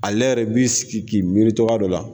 Ale yɛrɛ b'i sigi k'i miiri cɔgɔya dɔ la